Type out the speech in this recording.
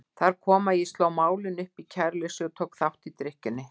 Þar kom að ég sló málinu upp í kæruleysi og tók þátt í drykkjunni.